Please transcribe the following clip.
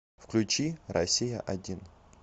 включи россия один